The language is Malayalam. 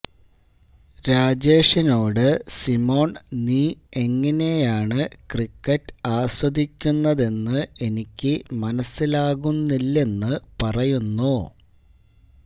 രാജേഷിനോട് സിമോണ് നീ എങ്ങനെയാണ് ക്രിക്കറ്റ് ആസ്വദിക്കുന്നതെന്ന് എനിക്ക് മനസിലാകുന്നില്ലെന്ന് പറയുന്നു